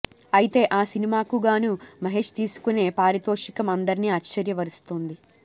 అయితే ఆ సినిమాకుగాను మహేష్ తీసుకునే పారితోషికం అందరిని ఆశ్చర్య పరుస్తుంది